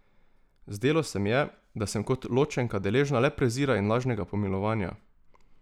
Zdelo se mi je, da sem kot ločenka deležna le prezira in lažnega pomilovanja.